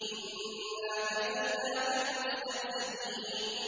إِنَّا كَفَيْنَاكَ الْمُسْتَهْزِئِينَ